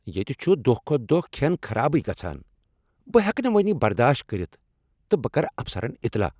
ییٚتہ چھ دۄہ کھۄتہٕ دۄہ کھین خرابٕے گژھان۔ بہٕ ہیٚکہٕ نہٕ وۄنۍ یہ برداشت کٔرتھ تہٕ بہٕ کرٕ افسرن اطلاع۔